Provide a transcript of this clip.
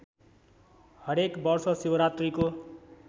हरेक वर्ष शिवरात्रीको